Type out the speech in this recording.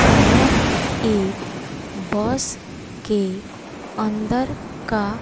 यह एक बस के अंदर का--